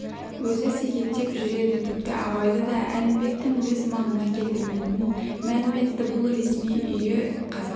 өзі секектеп жүреді тіпті абайды да әлімбектің өз маңына келтірмейтінін мәлім етті бұл ресми үйі қазақ